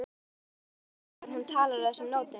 Hún veldur honum vonbrigðum þegar hún talar á þessum nótum.